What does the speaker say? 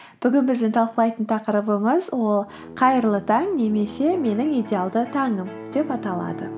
бүгін біздің талқылайтын тақырыбымыз ол қайырлы таң немесе менің идеалды таңым деп аталады